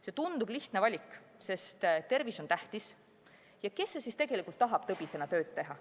See tundub lihtne valik, sest tervis on tähtis ja kes siis ikka tahab tõbisena tööd teha.